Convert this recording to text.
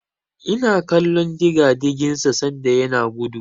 Ina kallon digadigin sa sanda yana gudu.